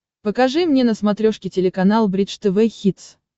покажи мне на смотрешке телеканал бридж тв хитс